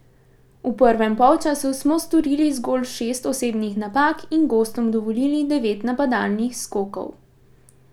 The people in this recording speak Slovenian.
V prvem polčasu smo storili zgolj šest osebnih napak in gostom dovolili devet napadalnih skokov.